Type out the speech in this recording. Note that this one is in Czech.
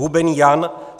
Hubený Jan